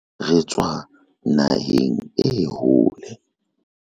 re tswa naheng e hole